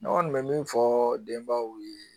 Ne kɔni bɛ min fɔ denbaw ye